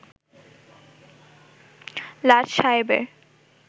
লাট সায়েবের